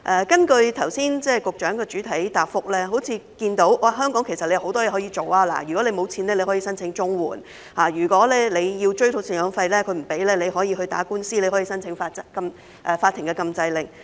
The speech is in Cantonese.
根據局長剛才的主體答覆，好像看到在香港，相關人士有很多事可以做，如果沒有錢，可以申請綜援，如果追討贍養費不果，可以打官司，申請法庭禁制令。